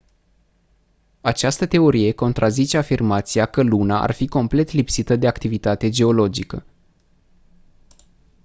această teorie contrazice afirmația că luna ar fi complet lipsită de activitate geologică